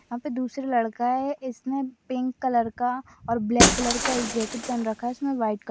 यहा पे दूसरे लड़का है इसने पिंक कलर का और ब्लॅक कलर का जेकिट पहन रखा है उसमे व्हाईट क--